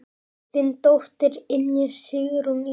Þín dóttir, Ynja Sigrún Ísey.